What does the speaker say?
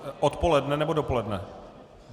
Odpoledne, nebo dopoledne?